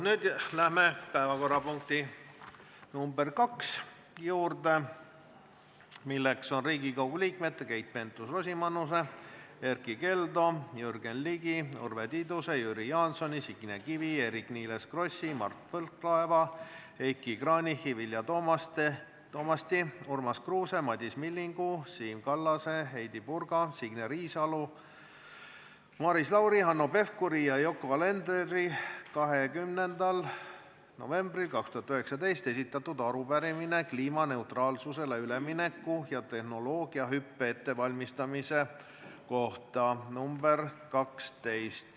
Nüüd läheme päevakorrapunkti nr 2 juurde, milleks on Riigikogu liikmete Keit Pentus-Rosimannuse, Erkki Keldo, Jürgen Ligi, Urve Tiiduse, Jüri Jaansoni, Signe Kivi, Eerik-Niiles Krossi, Mart Võrklaeva, Heiki Kranichi, Vilja Toomasti, Urmas Kruuse, Madis Millingu, Siim Kallase, Heidy Purga, Signe Riisalo, Maris Lauri, Hanno Pevkuri ja Yoko Alenderi 20. novembril 2019 esitatud arupärimine kliimaneutraalsusele ülemineku ja tehnoloogiahüppe ettevalmistamise kohta.